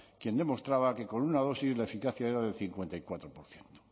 quien demostraba que con una dosis la eficacia era del cincuenta y cuatro por ciento